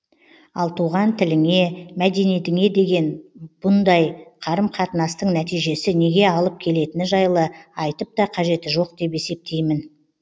ал туған тіліңе мәдениетіңе деген бұндай қарым қатынастың нәтижесі неге алып келетіні жайлы айтып та қажеті жоқ деп есептеймін